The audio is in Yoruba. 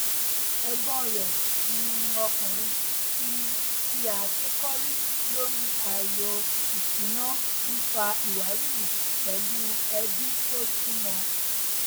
ẹgbọn rẹ um ọkùnrin fi fi àáké kọrí lórí ààyò ìṣúná n fa ìwárìrì pẹlú ẹbí tó súnmọ